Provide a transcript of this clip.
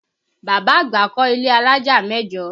Bàbá àgbà kọ ilé alájà mẹ́jọ